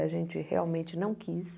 A gente realmente não quis.